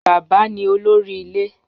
Baba ni olori ile